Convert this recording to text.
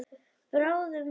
Bráðum færi að húma.